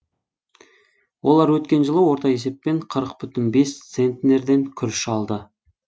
олар өткен жылы орта есеппен қырық бүтін бес центнерден күріш алды